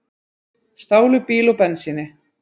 Stálu bíl og bensíni